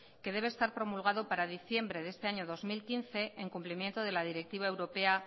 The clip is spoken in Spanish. que debe estar promulgado para diciembrede este año dos mil quince en cumplimiento de la directiva europea